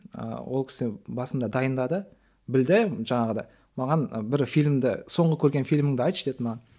ол кісі басында дайындады білді жаңағыдай маған бір фильмді соңғы көрген фильміңді айтшы деді маған